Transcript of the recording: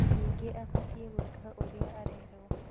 ningĩ abatie gwĩka ũrĩa arerwo